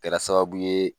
Kɛra sababu ye